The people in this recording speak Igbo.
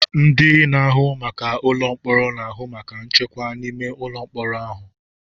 Ndị na-ahụ maka ụlọ mkpọrọ na-ahụ maka nchekwa n'ime ụlọ mkpọrọ ahụ.